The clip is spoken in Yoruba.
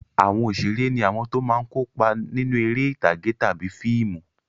Àwọn òṣèré ní àwọn tó máa ń kópa nínú eré ìtàgé tàbí fíìmù.